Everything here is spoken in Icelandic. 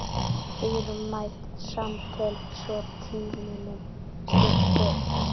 Dýrmæt samtöl svo tímunum skipti.